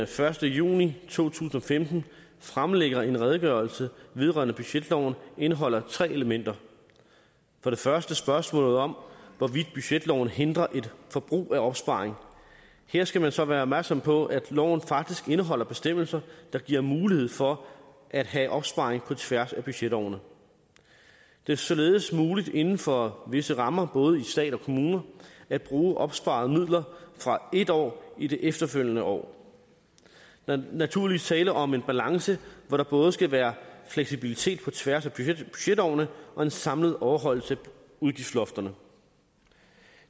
første juni to tusind og femten fremlægger en redegørelse vedrørende budgetloven indeholder tre elementer for det første spørgsmålet om hvorvidt budgetloven hindrer et forbrug af opsparing her skal man så være opmærksom på at loven faktisk indeholder bestemmelser der giver mulighed for at have opsparing på tværs af budgetårene det er således muligt inden for visse rammer både stat og kommuner at bruge opsparede midler fra et år i det efterfølgende år der er naturligvis tale om en balance hvor der både skal være fleksibilitet på tværs af budgetårene og en samlet overholdelse af udgiftslofterne